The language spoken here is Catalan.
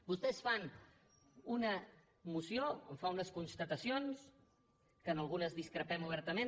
vostès fan una moció en fa unes constatacions que en algunes discrepem obertament